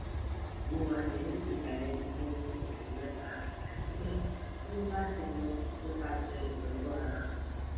mo wa ni idalẹnu fun osu mẹta ati pe o ni lati lọ nipasẹ itọju ara